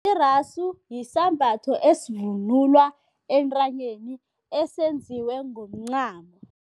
Iraso yisambatho esivunulwa entanyeni, esenziwe ngomncamo.